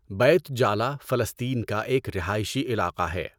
Beit Jala فلسطین کا ایک رہائشی علاقہ ہے۔